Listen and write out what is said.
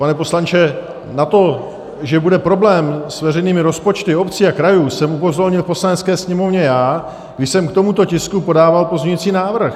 Pane poslanče, na to, že bude problém s veřejnými rozpočty obcí a krajů, jsem upozornil v Poslanecké sněmovně já, když jsem k tomuto tisku podával pozměňující návrh.